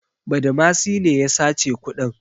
Badamasi ne ya sace kuɗin.